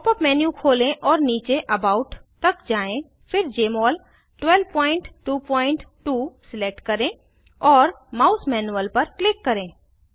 pop up menu खोलें और नीचे अबाउट तक जाएँ फिर जमोल 1222 सिलेक्ट करें और माउस मैनुअल पर क्लिक करें